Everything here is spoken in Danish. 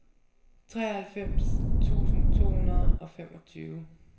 treoghalvfems tusind to hundrede og femogtyve